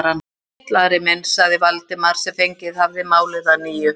Sæll, Ari minn sagði Valdimar sem fengið hafði málið að nýju.